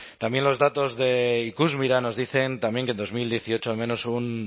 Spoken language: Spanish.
también los datos de ikusmira nos dicen también que en dos mil dieciocho al menos un